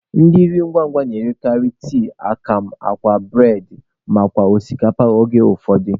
Ndị nri ngwa ngwa na-erekarị tii, akamụ, akwa, bụredị nakwa osikapa mgbe ụfọdụ.